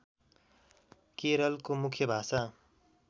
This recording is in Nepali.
केरलको मुख्य भाषा